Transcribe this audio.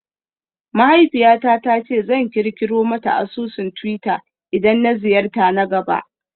Mahaifiyata ta ce zan kirkiro mata asusun twitter idan na ziyarta na gaba